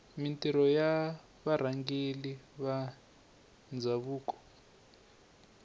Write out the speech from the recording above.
mintirho ya varhangeri va ndhavuko